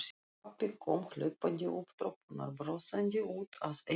Pabbi kom hlaupandi upp tröppurnar, brosandi út að eyrum.